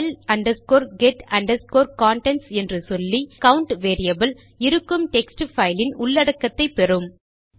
file get contents என்று சொல்லி நம் கவுண்ட் வேரியபிள் இருக்கும் டெக்ஸ்ட் பைல் இன் உள்ளடக்கத்தை பெறும்